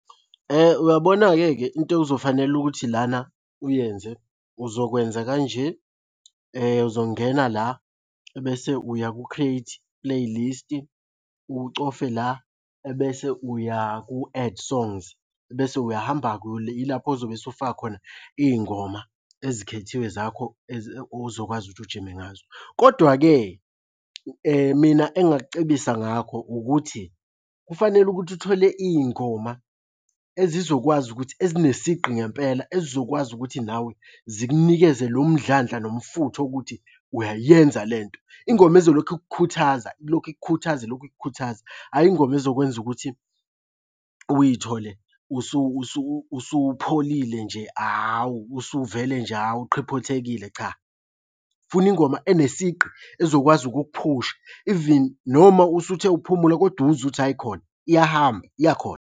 Uyabona-ke ke into ekuzofanele ukuthi lana uyenze uzokwenza kanje, uzongena la, ebese uya ku-create playlist, ucofe la, ebese uya ku-add songs. Ebese uyahamba-ke yilapho ozobe usufaka khona iy'ngoma ezikhethiwe zakho ozokwazi ukuthi ujime ngazo, kodwa-ke mina engingakucebisa ngakho ukuthi kufanele ukuthi uthole iy'ngoma ezizokwazi ukuthi, ezinesigqi ngempela. Ezizokwazi ukuthi nawe zikunikeze lo mdlandla nomfutho wokuthi uyayenza le nto. Ingoma ezolokhu ikukhuthaza, ilokhu ikukhuthaza, ilokhu ikukhuthaza. Hhayi ingoma ezokwenza ukuthi uy'thole usupholile nje awu, usuvele nje, awu uqhiphothekile, cha. Funa ingoma enesigqi ezokwazi ukukuphusha even noma usuthe ukuphumula kodwa uzwe ukuthi ayikhona iyahamba iyakhona.